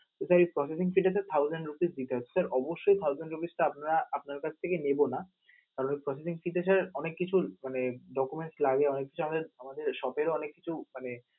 তো sir এই processing fees sir thousand rupees ঠিক আছে. sir অবশ্যই thousand rupees টা আপনা~ আপনার কাছে থেকে নেব না, কারণ processing fees তে sir অনেক কিছু মানে documents লাগে অনেক কিছু আমাদের আমাদের সতেরো অনেক কিছু মানে